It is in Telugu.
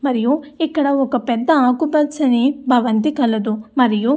మరియు ఇక్కడ ఒక పెద్ద ఆకుపచ్చని భవంతి కలదు. మరియు --